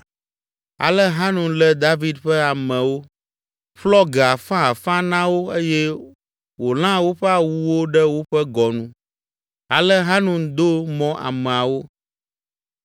Ale Hanun lé David ƒe amewo, ƒlɔ ge afãafã na wo eye wòlã woƒe awuwo ɖe woƒe gɔnu. Ale Hanun do mɔ ameawo.